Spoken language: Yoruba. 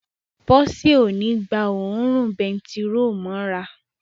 Bọ́sẹ̀ ó ní gba òórùn bentiróòlù mọ́ra